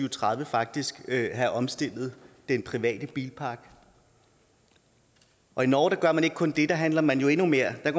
og tredive faktisk kan have omstillet den private bilpark og i norge gør man ikke kun det for der handler man endnu mere man